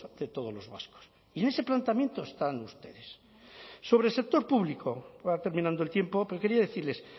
de todos los vascos y en ese planteamiento están ustedes sobre el sector público va terminando el tiempo pero quería decirles